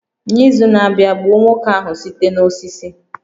N'izu na-abịa, gbuo nwoke ahụ site n'osisi